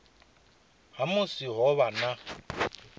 ha musi ho vha na